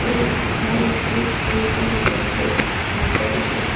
Three nine three ಇಂದು number plate number ಇದೆ.